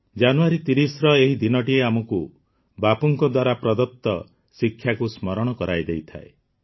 ଜାନୁଆରୀ ୩୦ର ଏହି ଦିନଟି ଆମକୁ ବାପୁଙ୍କ ଦ୍ୱାରା ପ୍ରଦତ୍ତ ଶିକ୍ଷାକୁ ସ୍ମରଣ କରାଇ ଦେଇଥାଏ